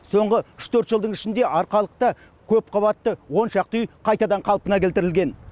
соңғы үш төрт жылдың ішінде арқалықта көпқабатты он шақты үй қайтадан қалпына келтірілген